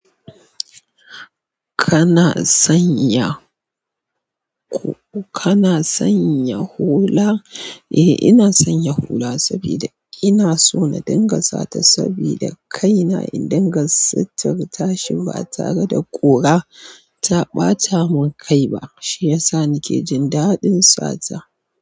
Kana sanya, kana sanya hula? Eh ina sanya hula sabida ina so na dinga sata saboda kaina in dinga satur ta shi ba tare da ƙura ta ɓata mun kai ba, shi yasa nike jin daɗin sata.